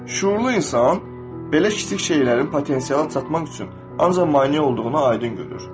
Şüurlu insan belə kiçik şeylərin potensial çatdırmaq üçün ancaq maneə olduğunu aydın görür.